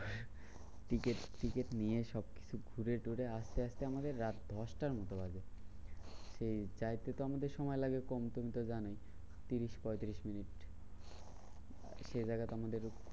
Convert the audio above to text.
Ticket ticket নিয়ে সবকিছু ঘুরে টুরে আসতে আসতে আমাদের রাত দশটার মতো বাজে। সেই যাইতে তো আমাদের সময় লাগে কম তুমি জানো, ত্রিশ পঁয়ত্রিশ মিনিট। সেই জায়গাতে আমাদের